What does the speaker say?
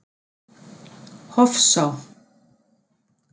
Hofsá